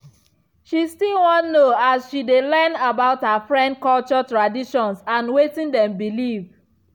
she still wan no as she dey learn about her friend culture traditions and wetin dem believe.